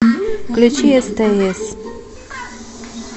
включи стс